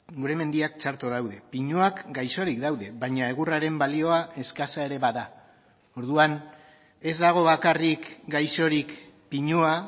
gure mendiak txarto daude pinuak gaixorik daude baina egurraren balioa eskasa ere bada orduan ez dago bakarrik gaixorik pinua